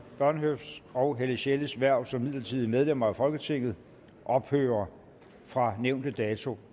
bornhøfts og helle sjelles hverv som midlertidige medlemmer af folketinget ophører fra nævnte dato